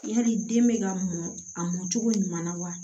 Yali den bɛ ka mɔ a mɔ cogo ɲuman na wa